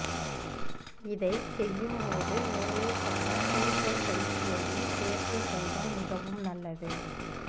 இதைச் செய்யும்போது மேலே சொன்ன கீஜெல் பயிற்சியையும் சேர்த்து செய்தால் மிகவும் நல்லது